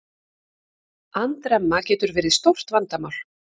Andremma getur verið stórt vandamál.